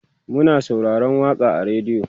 Muna sauraron waƙan a radio